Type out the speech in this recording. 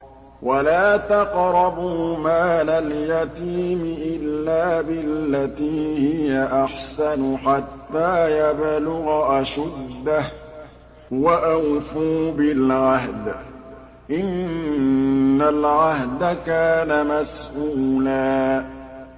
وَلَا تَقْرَبُوا مَالَ الْيَتِيمِ إِلَّا بِالَّتِي هِيَ أَحْسَنُ حَتَّىٰ يَبْلُغَ أَشُدَّهُ ۚ وَأَوْفُوا بِالْعَهْدِ ۖ إِنَّ الْعَهْدَ كَانَ مَسْئُولًا